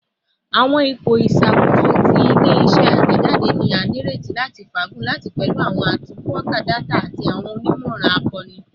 Awọn ipo iṣakoso ti ile-iṣẹ atẹjade ni a nireti lati faagun lati pẹlu awọn atunnkanka data ati awọn onimọran akoonu